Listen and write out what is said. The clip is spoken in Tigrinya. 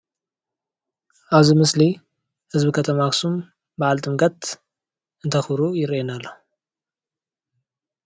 ኣብዚ ምስሊ ህዝቢ ከተማ ኣኽሱም በዓል ጥምቀት እንተኽብሩ ይርአየና ኣሎ።